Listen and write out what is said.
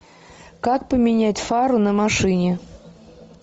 как поменять фару на машине